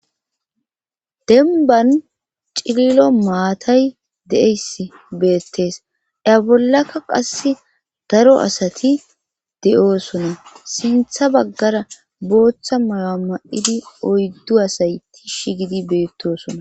Denban cililo maatay de7eyss beettees ya bollaka qass daro asati de7oosona sintha baggara booththa mala ma7idi oyddu asay tishsh gidi beettosona.